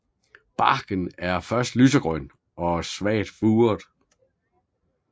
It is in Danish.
Barken er først lysegrøn og svagt furet